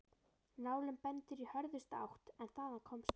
Nálin bendir í hörðustu átt en þaðan komstu